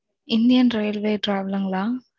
Indian Railway Travel ங்களா